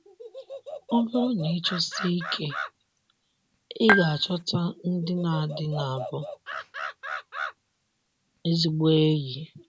Ọ bụrụ na ị chọsie ike, ị ga - achọta ndị na ndị na bụ ezigbo enyi